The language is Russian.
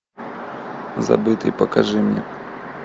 забытый покажи мне